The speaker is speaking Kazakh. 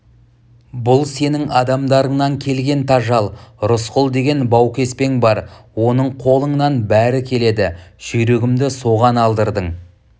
бұл сенің адамдарыңнан келген тажал рысқұл деген баукеспең бар оның қолыңнан бәрі келеді жүйрігімді соған алдырдың